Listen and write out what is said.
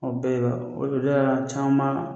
O bɛɛ de b'a la caman.